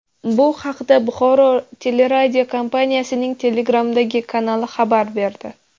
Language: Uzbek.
Bu haqda Buxoro teleradiokompaniyasining Telegram’dagi kanali xabar berdi .